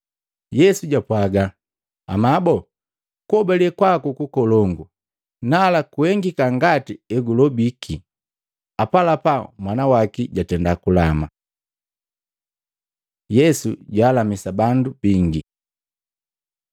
Yesu jwapwaga, “Amabo kuhobale kwaku kukolongu! Nala kuhengika ngati hegulobiki.” Apalapa mwana waki jatenda kulama. Yesu jwaalamisa bandu bingi